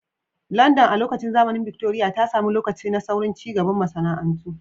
London, a lokacin zamanin Victoria, ta sami lokaci na saurin cigaban masana'antu.